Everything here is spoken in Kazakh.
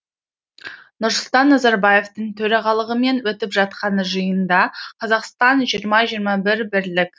нұрсұлтан назарбаевтың төрағалығымен өтіп жатқан жиында қазақстан жиырма жиырма бір бірлік